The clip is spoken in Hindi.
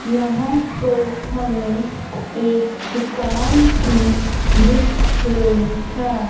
यहां पर हमें एक दुकान भी दिख रही है।